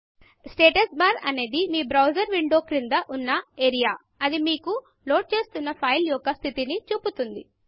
status status bar అనేది మీ browser window క్రింద ఉన్న ఏరియా ఇది మీకు లోడ్ చేస్తున్న సైట్ యొక్క స్థితిని చూపుతుంది